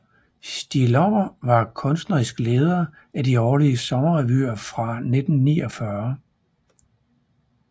Stig Lommer var kunstnerisk leder af de årlige sommerrevyer fra 1949